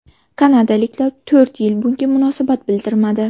Kanadaliklar to‘rt yil bunga munosabat bildirmadi.